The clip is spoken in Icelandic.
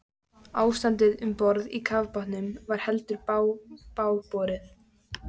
Ástandið um borð í kafbátnum var heldur bágborið.